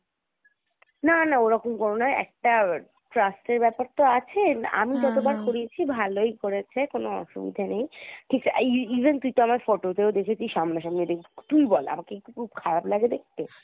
না না ওরকম কোনো নয় একটা trust এর ব্যাপার তো আছে , আমি যতবার করিয়েছি ভালোই করেছে কোনো অসুবিধা নেই ঠিক e~even তুই তো আমায় photoতেও দেখেছিস সামনাসামনি ও দেখেছিস , তুই ই বল আমাকে কি খুব খারাপ লাগে দেখতে?